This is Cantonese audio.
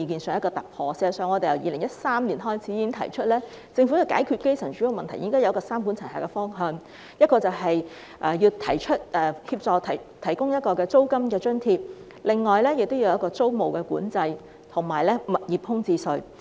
事實上，我們自2013年已提出，政府如要解決基層住屋問題，便應該採取三管齊下的方向，即提供租金津貼、實行租務管制及推出物業空置稅。